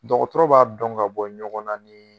Dɔgɔtɔrɔ b'a dɔn ka bɔ ɲɔgɔn na nin